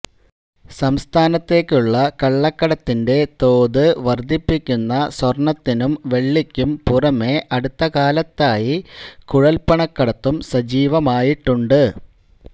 സംസ്ഥാനത്തേക്കുള്ള കള്ളക്കടത്തിന്റെ തോത് വര്ദ്ധിപ്പിക്കുന്ന സ്വര്ണ്ണത്തിനും വെള്ളിക്കും പുറമെ അടുത്ത കാലത്തായി കുഴല്പ്പണക്കടത്തും സജീവമായിട്ടുണ്ട്